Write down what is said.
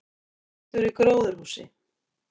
Eldur í gróðurhúsi